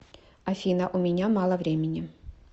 афина у меня мало времени